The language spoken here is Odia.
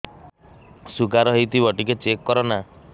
ଶୁଗାର ହେଇଥିବ ଟିକେ ଚେକ କର ନା